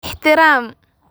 ixtiraam.